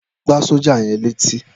Lọ gbá sọ́jà yẹn létí.